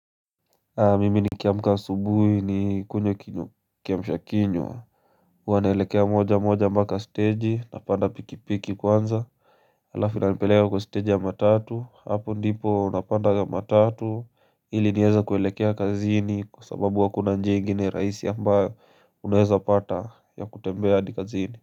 Mimi nikiamka asubuhi nikunywe kiamsha kinywa huwa naelekea moja moja mpaka steji napanda pikipiki kwanza Halafu inanipeleka kwa stage ya matatu hapo ndipo unapanda matatu ili nieze kuelekea kazini kwa sababu hakuna njia ingine rahisi ambayo unaeza pata ya kutembea hadi kazini.